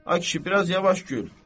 Ay kişi, biraz yavaş gül.